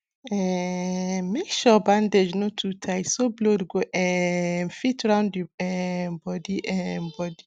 um make sure bandage no too tight so blood go um fit round the um body um body